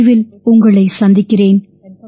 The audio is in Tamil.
விரைவில் உங்களைச் சந்திக்கிறேன்